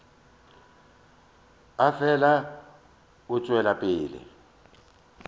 a fele a tšwela pele